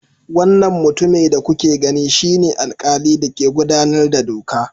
Wannan mutumin da kuke gani shine alkali da ke gudanar da doka.